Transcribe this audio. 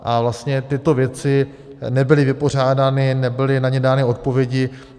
A vlastně tyto věci nebyly vypořádány, nebyly na ně dány odpovědi.